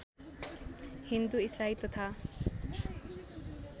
हिन्दू इसाई तथा